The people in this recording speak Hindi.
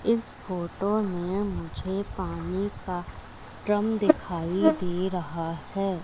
इस फोटो में मुझे पानी का ड्रम दिखाई दे रहा है।